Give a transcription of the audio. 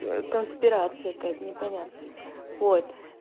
ээ конспирация какая-то непонятно вот